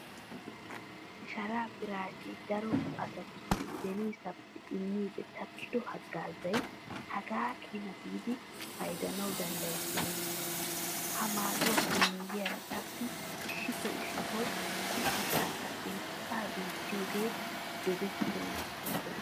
Sharaa piraashee daro asatussi beniisaappe immiiddi takkido haggaazay hagaa keena giidi paydanawu danddayettenna. Ha maaduwappe miyyiyara qassi issitoo issitoo qum"ettankka xeessaa duuttiyogee dogettana bessenna.